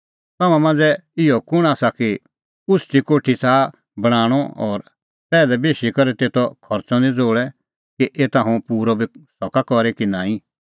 तम्हां मांझ़ै इहअ कुंण आसा कि उछ़टी कोठी च़ाहा बणांणअ और पैहलै बेशी करै तेतो खर्च़अ नां ज़ोल़े कि एता हुंह पूरअ बी सका करी कि नांईं